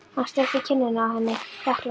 Hann sleikti kinnina á henni þakklátur.